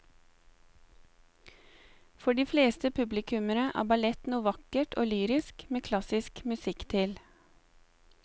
For de fleste publikummere er ballett noe vakkert og lyrisk med klassisk musikk til.